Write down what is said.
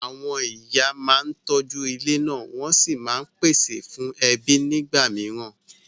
Àwọn ìyá máa ń tọ́jú ilé náà wọ́n sì máa ń pèsè fún ẹbí nígbà mìíràn.